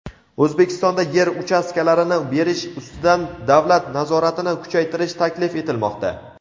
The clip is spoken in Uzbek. O‘zbekistonda yer uchastkalarini berish ustidan davlat nazoratini kuchaytirish taklif etilmoqda.